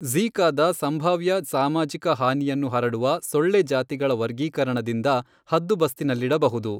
ಝೀ಼ಕಾದ ಸಂಭಾವ್ಯ ಸಾಮಾಜಿಕ ಹಾನಿಯನ್ನು ಹರಡುವ ಸೊಳ್ಳೆ ಜಾತಿಗಳ ವರ್ಗೀಕರಣದಿಂದ ಹದ್ದುಬಸ್ತಿನಲ್ಲಿಡಬಹುದು.